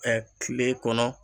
Ɛ kile kɔnɔ